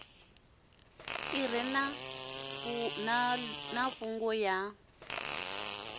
ḓi re na ṱhungu ya